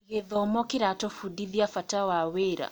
Gĩthomo kĩratũbundithia bata wa wĩra.